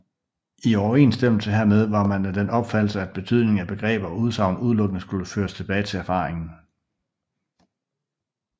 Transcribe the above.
I overensstemmelse hermed var man af den opfattelse at betydningen af begreber og udsagn udelukkende skulle føres tilbage til erfaringen